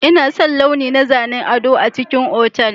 Ina son launi na zanen gado a cikin otal.